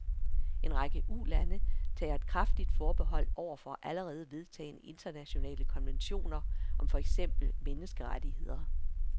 En række ulande tager et kraftigt forbehold over for allerede vedtagne internationale konventioner om for eksempel menneskerettigheder.